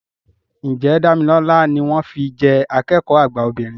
Ǹjẹ́ Dámilọ́lá ni wọ́n fi jẹ́ akẹ́kọ̀ọ́ àgbà obìnrin